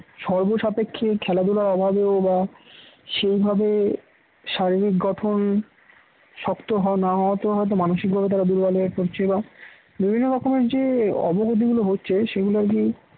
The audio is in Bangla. সর্বসাপেক্ষে খেলাধুলার অভাবেও বা সেই ভাবে শারীরিক গঠন শক্ত হওয়া না হওয়াতেও হয়তো মানসিকভাবে তারা দুর্বল হয়ে পড়ছে বা বিভিন্ন রকমের যে অবনতি গুলো হচ্ছে সেগুলো আর কি